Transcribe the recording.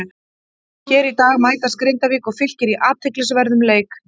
Hér í dag mætast Grindavík og Fylkir í athyglisverðum leik.